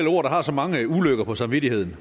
ord der har så mange ulykker på samvittigheden